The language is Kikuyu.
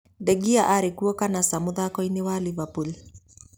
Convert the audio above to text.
De Gea arĩ kuo kana ca mũthako inĩ na Liverpool?